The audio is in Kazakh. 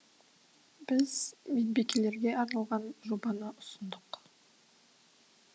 біз медбикелерге арналған жобаны ұсындық